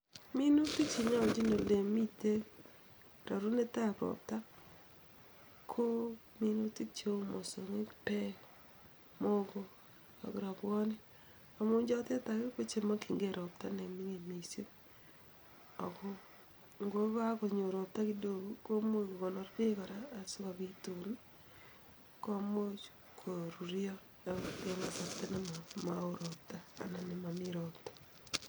Minutik che nyolchin ole mitei rarunetab ropta, ko minutik cheu mosongik, peek, muhoko ak rwobwonik. Amune chotek alak kochemakchikinike ne mining mising , ako ngokanyor ropta kidogo komuch kokonor peek kora asikopit tuun komuch koruryo akot eng kasarta nemao ropta anan ko nemami ropta.